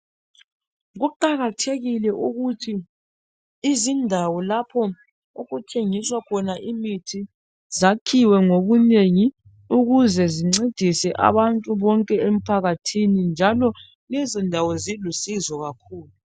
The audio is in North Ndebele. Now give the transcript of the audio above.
Kuqakathekil ukuthi izindawo lapho okuthengiswa imithi zakhiwe ngobunengi ukuze zincedise abantu bonke empakathini njalo lezondawo zilusizo kakhulu.